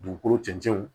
Dugukolo cɛncɛnw